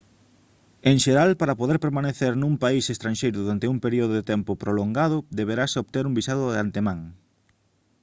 en xeral para poder permanecer nun país estranxeiro durante un período de tempo prolongado deberase obter un visado de antemán